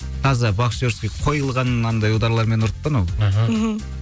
таза боксерский қойылған мынандай ударлармен ұрды да анау аха мхм